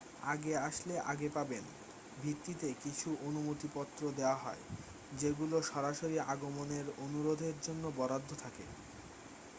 আগে আসলে আগে পাবেন ভিত্তিতে কিছু অনুমতিপত্র দেয়া হয় যেগুলো সরাসরি আগমনের অনুরোধের জন্য বরাদ্দ থাকে